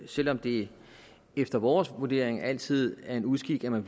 selv om det efter vores vurdering altid er en uskik at man